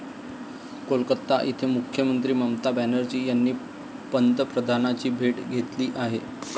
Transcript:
कोलकाता येथे मुख्यमंत्री ममता बॅनर्जी यांनी पंतप्रधानांची भेट घेतली आहे.